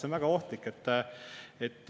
See on väga ohtlik.